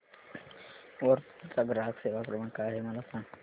Whirlpool चा ग्राहक सेवा क्रमांक काय आहे मला सांग